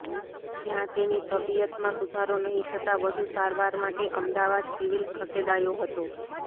જ્યાં તેની તબીયતમાં સુધારો નહી થતા વધુ સારવાર માટે અમદાવાદ સિવીલ ખસેડાયો હતો